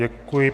Děkuji.